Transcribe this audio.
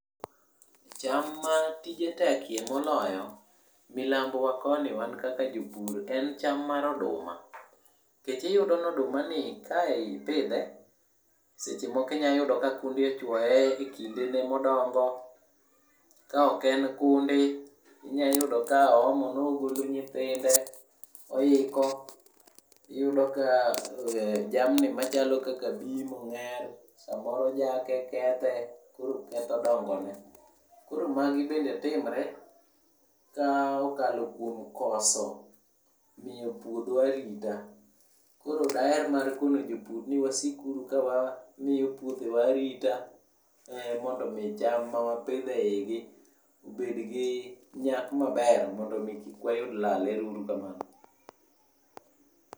Cham matije tekye moloyo, milambowa koni wan kaka jopur en cham mar oduma. Nikech iyudo nodumani ka ipidhe, seche moko inya yudo ka kundi ochwoye, e kindene modongo. Ka ok en kundi, inya yudo ka oomo nogolo nyithinde, oiko iyudo ka ee jamni machalo kaka bim, ong'er samoro jake, kethe koro ketho dongo ne. Koro magi bende timre ka okalo kuom koso, miyo puodho arita. Koro daher mar kono jopur ni wasik uru ka wamiyo puothewa arita. Ee mondo omi cham mawapidho ei gi obed gi, nyak maber mondo omi kik wayud lal. Ero uru kamamno.